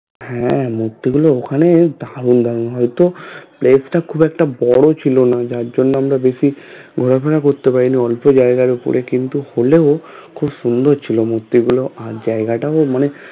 হ্যাঁ মূর্তি গুলো ওখানেও দারুন দারুন হয়তো place টা খুব একটা বড়ো ছিল না যার জন্য আমরা বেশি ঘোরা ফেরা করতে পারিনি অল্প জায়গায় উপরে কিন্তু হলেও খুব সোন্দর ছিল মূর্তি গুলো আর জায়গাটাও তো মানে